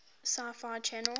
sci fi channel